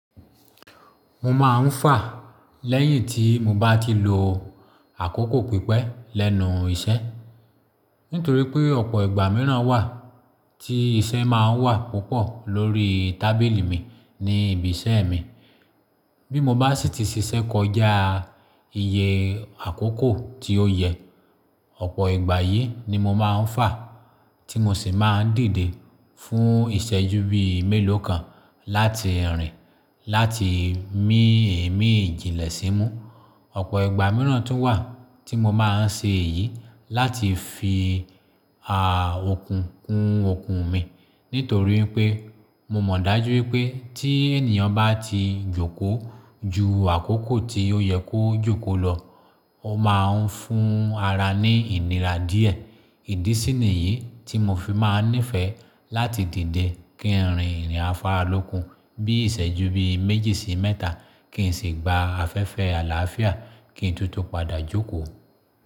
Mo máa ń fà lẹ́yìn tí mo bá ti lo àkókò pípẹ́ lẹ́nu iṣẹ́. Nítorí pé ọ̀pọ̀ ìgbà mìíràn wà tí iṣẹ́ máa ń wà púpọ̀ lórí tábìlì mi ní ibi iṣẹ́ mi. Bí mo bá sì ti ṣiṣẹ́ kọjá iye àkókò tí ó yẹ, ọ̀pọ̀ ìgbà yìí ni mo máa ń fà, tí mo sì máa ń dìde fún ìṣẹ́jú bí i mélòó kan láti rìn láti mí ìmíji ìlẹ̀ sí mú. Ọ̀pọ̀ ìgbà mìíràn tún wà tí mo máa ń ṣe èyí láti fi a òkun kun òkun mi nítorí pé mo mọ̀ dájú wipé tí ènìyàn bá ti jókòó ju àkókò tí ó yẹ kó jókòó lọ, ó máa ń fún ara ní ìnira díẹ̀. Ìdí sì ni yí tí mo fi máa ń nífẹ̀ẹ́ láti dìde kí n rìn ìrìn afáralókun bí i ìṣẹ́jú bí i méjì sí mẹ́ta kí n sì gba afẹ́fẹ́ àlàáfíà kí n tútù padà jókòó.